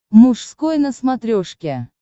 мужской на смотрешке